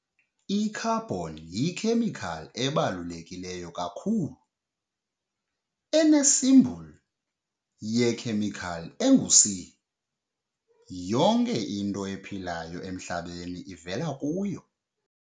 I-Carbon yikhemikhali ebaluleke kakhulu, enecsimboli yekhemikhali engu-C. Yonke into ephilayo emHlabeni ivela kuyo.